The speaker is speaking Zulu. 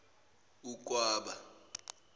ukwaba